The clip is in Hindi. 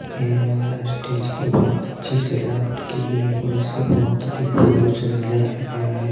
यह माला स्टेज की बहोत अच्छी सजावट की गई है और इसे बहोत अधिक फूलों से सजाया गया है।